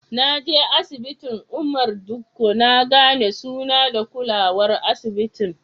Na je asibitin Umar Dikko na gane suna da kulawar asibitin.